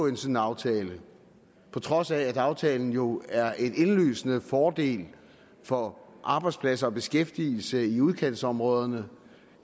en sådan aftale på trods af at aftalen jo er en indlysende fordel for arbejdspladser og beskæftigelse i udkantsområderne